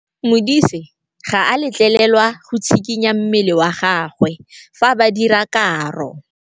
Modise ga a letlelelwa go tshikinya mmele wa gagwe fa ba dira karô.